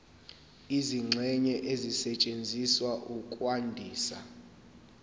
izingxenye ezisetshenziswa ukwandisa